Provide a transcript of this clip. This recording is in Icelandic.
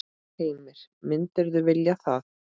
Heimir: Myndirðu vilja það?